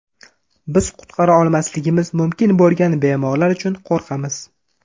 Biz qutqara olmasligimiz mumkin bo‘lgan bemorlar uchun qo‘rqamiz.